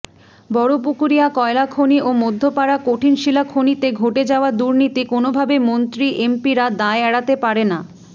বড়পুকুরিয়া কয়লাখনি ও মধ্যপাড়া কঠিনশিলা খনিতে ঘটে যাওয়া দূর্নীতি কোনোভাবে মন্ত্রী এমপিরা দায় এড়াতে পারেনা